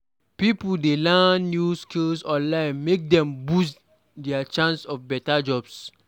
Pipo dey learn new skills online make dem boost dia chance for beta jobs.